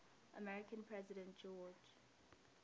american president george